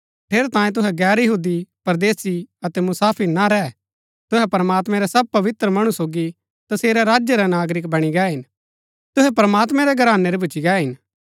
ठेरैतांये तुहै गैर यहूदी परदेसी अतै मुसाफिर ना रैह तुहै प्रमात्मैं रै सब पवित्र मणु सोगी तसेरै राज्य रै नागरिक बणी गै हिन तुहै प्रमात्मैं रै घरानै रै भूच्ची गै हिन